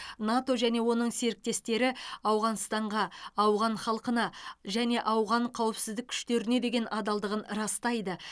нато және оның серіктестері ауғанстанға ауған халқына және ауған қауіпсіздік күштеріне деген адалдығын растайды